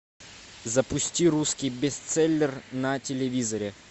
запусти русский бестселлер на телевизоре